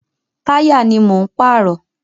Táyà ni mò ń pààrọ̀.